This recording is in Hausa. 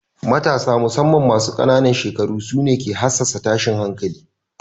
Matasa musamman masu ƙanan shekaru su ne ke hassasa tashin hankali.